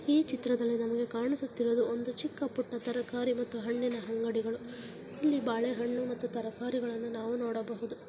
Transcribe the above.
ಈ ಚಿತ್ರದಲ್ಲಿ ನಮಿಗೆ ಕಾಣಿಸುತಿರುವುದು ಒಂದು ಚಿಕ್ಕ ಪುಟ್ಟ ತರ್ಕಾರಿ ಮತ್ತು ಹಣ್ಣಿನ ಅಂಗಡಿಗಳು ಇಲ್ಲಿ ಬಾಳೆ ಹಣ್ಣು ಮತ್ತು ತರಕಾರಿ ಗಳ್ಳನ ನಾವು ನೋಡಬಹುದು .